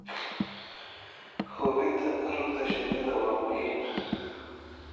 Hubinta rugta shinnida waa muhiim.